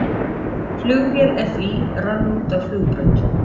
Flugvél FÍ rann út af flugbraut